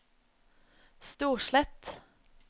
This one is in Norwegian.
Storslett